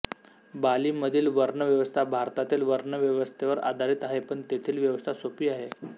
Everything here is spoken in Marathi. बालीमधील वर्णव्यवस्था भारतातील वर्णव्यवस्थेवर आधारित आहे पण तेथील व्यवस्था सोपी आहे